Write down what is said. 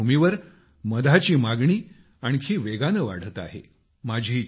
या पार्श्वभूमीवर मधाची मागणी आणखी वेगाने वाढत आहे